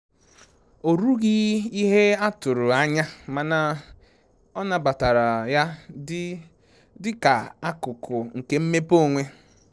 O rughi ihe a tụrụ anya mana ọ nabatara ya dị dị ka akụkụ nke mmepe onwe